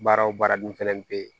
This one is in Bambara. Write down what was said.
Baara o baara dun fɛnɛ be yen